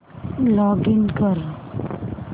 login कर